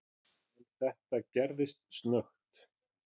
En þetta gerðist snöggt.